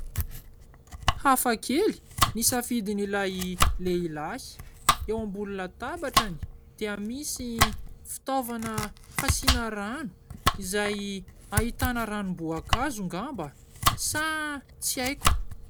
Hafakely ny safidin'ilay lehilahy, eo ambony latabatrany dia misy fitaovana fasiana rano izay ahitana ranom-boankazo ngamba sa tsy aiko !